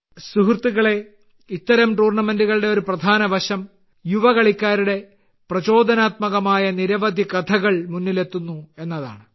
സുഹൃത്തുക്കളേ ഇത്തരം ടൂർണമെന്റുകളുടെ ഒരു പ്രധാന വശം യുവ കളിക്കാരുടെ പ്രചോദനാത്മകമായ നിരവധി കഥകൾ മുന്നിലെത്തുന്നു എന്നതാണ്